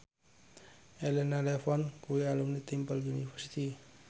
Elena Levon kuwi alumni Temple University